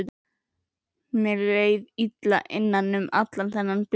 Mér leið illa innan um allan þennan bjór.